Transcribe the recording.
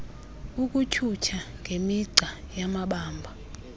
ukutyhutyha ngemigca yamabamba